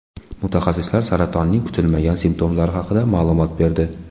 Mutaxassislar saratonning kutilmagan simptomlari haqida ma’lumot berdi.